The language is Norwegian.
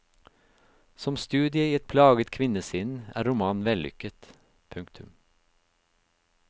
Som studie i et plaget kvinnesinn er romanen vellykket. punktum